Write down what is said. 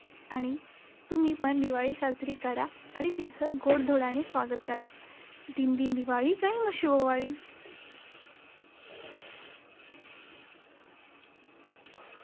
आणि तुम्ही पण दिवाळी साजरी करा आणि तिचं गोडधोडाने स्वागत करा. दिन दिन दिवाळी, गायी-म्हशी ओवाळी!